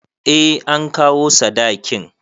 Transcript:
Eh an kawo sadakin